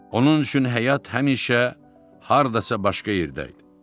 Onun üçün həyat həmişə hardasa başqa yerdə idi.